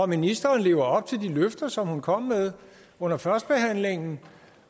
ministeren lever op til de løfter hun kom med under førstebehandlingen